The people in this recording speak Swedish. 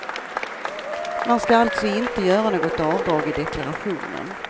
Man ska alltså inte göra något avdrag i deklarationen.